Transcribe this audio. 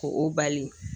Ko o bali